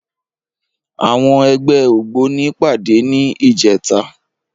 Àwọn ẹgbẹ́ ògbóni pàdé ní ìjẹta.